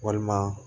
Walima